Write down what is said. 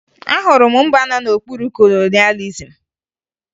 Ahụrụ m mba nọ n'okpuru kolonịalizim